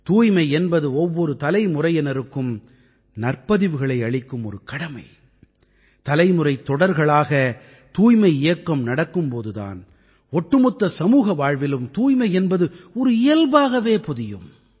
தூய்மை என்பது ஒவ்வொரு தலைமுறையினருக்கும் நற்பதிவுகளை அளிக்கும் ஒரு கடமை தலைமுறைத் தொடர்களாக தூய்மை இயக்கம் நடக்கும் போது தான் ஒட்டுமொத்த சமூக வாழ்விலும் தூய்மை என்பது ஒரு இயல்பாகவே பொதியும்